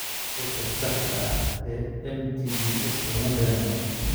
Sababta saxda ah ee MTBS lama garanayo.